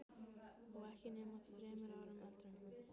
Og ekki nema þremur árum eldri en hún.